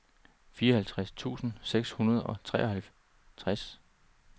fireoghalvtreds tusind seks hundrede og treoghalvtreds